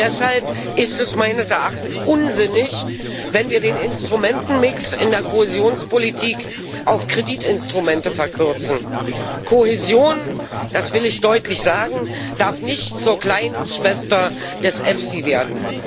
Und deshalb ist es meines Erachtens unsinnig, wenn wir den Instrumentenmix in der Kohäsionspolitik auf Kreditinstrumente verkürzen. Kohäsion das will ich deutlich sagen darf nicht zur kleinen Schwester des EFSI werden.